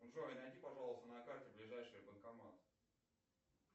джой найди пожалуйста на карте ближайший банкомат